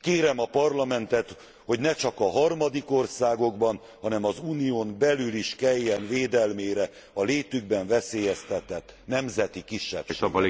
Kérem a parlamentet, hogy ne csak a harmadik országokban, hanem az unión belül is kelljen védelmére a létükben veszélyeztetett nemzeti kisebbségeknek.